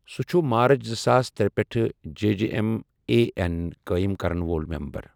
سُہ چھُ مارٕچ زٕساس ترے پٮ۪ٹھٕ J J M A N قٲیِم کرَن وول ممبَر۔